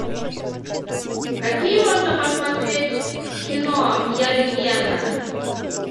какие можно посмотреть кино я легенда